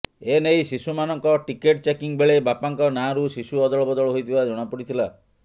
ଏନେଇ ଶିଶୁ ମାନଙ୍କ ଟିକେଟ୍ ଚେକିଂ ବେଳେ ବାପାଙ୍କ ନାଁରୁ ଶିଶୁ ଅଦଳ ବଦଳ ହୋଇଥିବା ଜଣା ପଡ଼ିଥିଲା